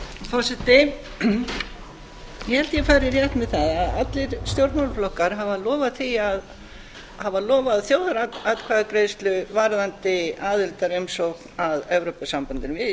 ég held að ég fari rétt með það að allir stjórnmálaflokkar hafi lofað þjóðaratkvæðagreiðslu varðandi aðildarumsókn að evrópusambandinu við í